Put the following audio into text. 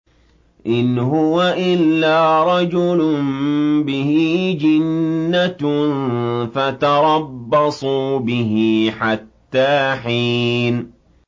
إِنْ هُوَ إِلَّا رَجُلٌ بِهِ جِنَّةٌ فَتَرَبَّصُوا بِهِ حَتَّىٰ حِينٍ